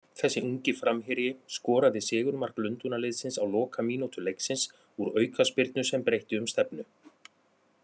Þessi ungi framherji skoraði sigurmark Lundúnaliðsins á lokamínútu leiksins úr aukaspyrnu sem breytti um stefnu.